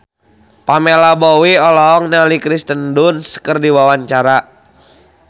Pamela Bowie olohok ningali Kirsten Dunst keur diwawancara